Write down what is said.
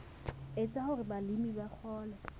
etsa hore balemi ba kgone